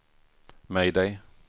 mayday